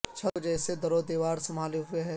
چھت کو جیسے در و دیوار سنبھالے ہوئے ہیں